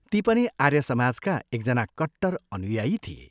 ती पनि आर्य समाजका एकजना कट्टर अनुयायी थिए।